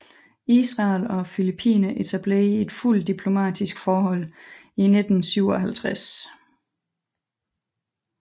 Israel og Filippinerne etablerede et fuldt diplomatisk forhold i 1957